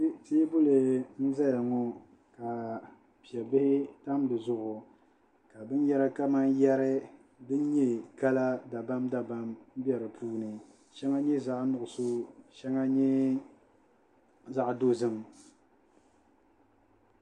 Teebuli n-zaya ŋɔ ka pebihi tam di zuɣu ka binyɛra kamani yɛri din nyɛ kala dabamdabam be di puuni shɛŋa nyɛ zaɣi nuɣiso ka shɛŋa nyɛ zaɣ'dozim